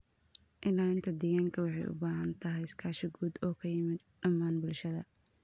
Ilaalinta deegaanka waxay u baahan tahay iskaashi guud oo ka yimid dhammaan bulshada.